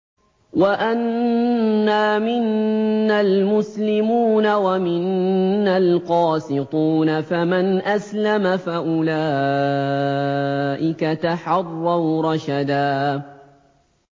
وَأَنَّا مِنَّا الْمُسْلِمُونَ وَمِنَّا الْقَاسِطُونَ ۖ فَمَنْ أَسْلَمَ فَأُولَٰئِكَ تَحَرَّوْا رَشَدًا